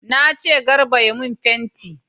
Na ce Garba ya mun fenti!